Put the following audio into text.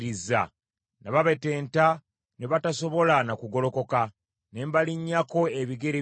Nababetenta ne batasobola na kugolokoka, ne mbalinnyako ebigere byange.